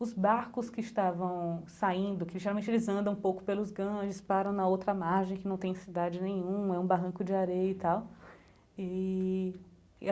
Os barcos que estavam saindo, que geralmente eles andam um pouco pelos Ganges, param na outra margem, que não tem cidade nenhuma, é um barranco de areia e tal eee.